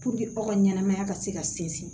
aw ka ɲɛnamaya ka se ka sinsin